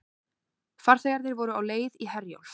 Farþegarnir voru á leið í Herjólf